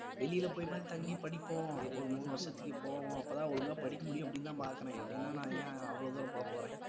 வெளியில போய் மாதிரி தங்கி படிப்போம் ஒரு மூணு வருஷத்துக்கு போவோம் அப்பதான் ஒழுங்கா படிக்க முடியும் அப்படி தான் பாக்குறேன் இல்லனா நான் ஏன் அவ்வளவு தூரம் போப்போறேன்